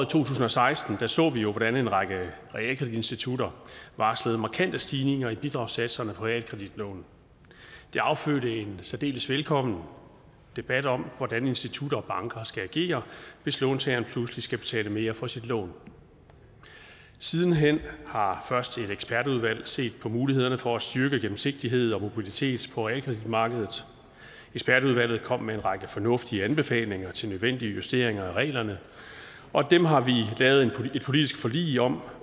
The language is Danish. tusind og seksten så vi jo hvordan en række realkreditinstitutter varslede markante stigninger i bidragssatserne på realkreditlån det affødte en særdeles velkommen debat om hvordan institutter og banker skal agere hvis låntageren pludselig skal betale mere for sit lån siden hen har først et ekspertudvalg set på mulighederne for at styrke gennemsigtighed og mobilitet på realkreditmarkedet ekspertudvalget kom med en række fornuftige anbefalinger til nødvendige justeringer af reglerne og dem har vi lavet et politisk forlig om